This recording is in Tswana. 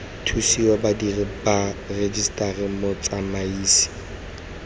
thusiwe badiri ba rejiseteri motsamaisi